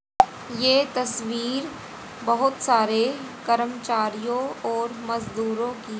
ये तस्वीर बहोत सारे कर्मचारीयो और मजदूरों की--